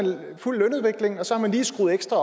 fulgt lønudviklingen og så har man lige skruet ekstra